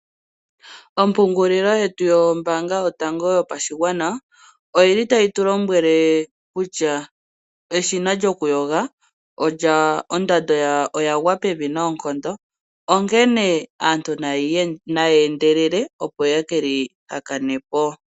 Ompungulilo yetu yombaanga yotango yopashigwana oyili tayi tu lombwele kutya eshina lyokuyoga ondando yalyo oya gwa pevi noonkondo, onkene aantu naa ye ye keli hakane po.